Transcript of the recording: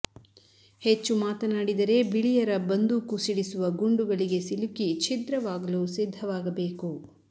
ಹೆಚ್ಚು ಮಾತನಾಡಿದರೆ ಬಿಳಿಯರ ಬಂದೂಕು ಸಿಡಿಸುವ ಗುಂಡುಗಳಿಗೆ ಸಿಲುಕಿ ಛಿದ್ರವಾದಲು ಸಿದ್ದವಾಗಬೇಕು